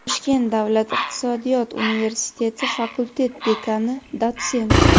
Toshkent davlat iqtisodiyot universiteti fakultet dekani, dotsent;.